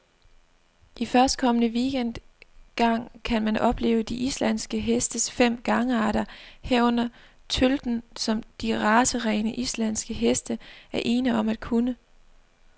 I førstkommende weekend gang kan man opleve de islandske hestes fem gangarter, herunder tølten, som de racerene, islandske heste er ene om at kunne.